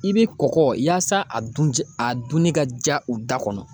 I be kɔkɔ yaasa a dun ja, a dunni ka ja u da kɔnɔ.